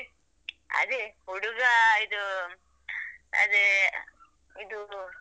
ಅದೇ ಹುಡುಗ ಇದು ಅದೇ ಇದು.